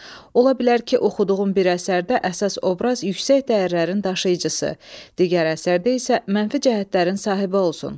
Ola bilər ki, oxuduğun bir əsərdə əsas obraz yüksək dəyərlərin daşıyıcısı, digər əsərdə isə mənfi cəhətlərin sahibi olsun.